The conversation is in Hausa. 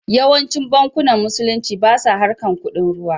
Yawancin bankunan musulunci basa harkar kuɗin ruwa